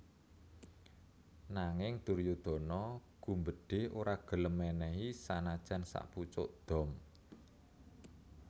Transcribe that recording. Nanging Duryudana gumbedhe ora gelem menehi sanajan sakpucuk dom